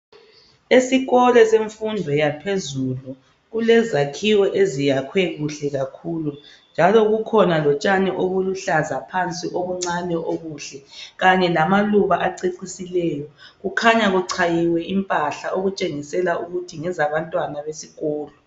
Esikolo semfundo yaphezulu kulezakhiwo eziyakhwe kuhle kakhulu njalo kukhona lotshani obuluhlaza phansi obuncane obuhle kanye lamaluba acecisileyo. Kukhanya kuchayiwe impahla okutshengisela ukuthi ngezabantwana besikolo.